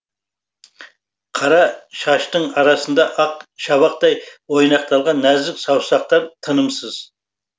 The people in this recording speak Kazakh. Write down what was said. қара шаштың арасында ақ шабақтай ойнақталған нәзік саусақтар тынымсыз